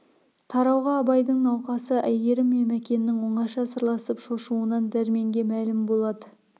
тарауға абайдың науқасы әйгерім мен мәкеннің оңаша сырласып шошуынан дәрменге мәлім болады